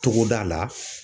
Togoda la